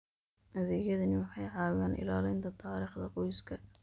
Adeegyadani waxay caawiyaan ilaalinta taariikhda qoyska.